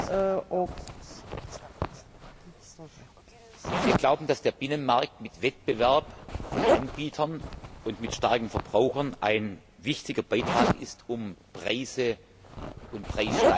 Wir glauben, dass der Binnenmarkt mit Wettbewerb von Anbietern und mit starken Verbrauchern ein wichtiger Beitrag ist, um Preise und Preissteigerungen in Maß und Proportion zu halten.